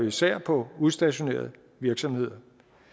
især på udstationerede virksomheder